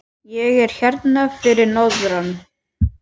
Ég er hérna fyrir norðan.